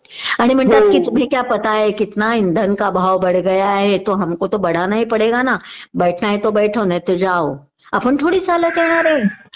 आणि म्हणतात किचभिक्या पता है कीतना इंधन का भाव बढ गया है तो हमको तो बढानाही पढेगा ना बैठना है तो बैठो वरना जाओ आपण थोडीच चालत येणारे